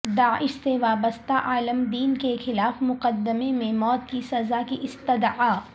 داعش سے وابستہ عالم دین کے خلاف مقدمے میں موت کی سزا کی استدعا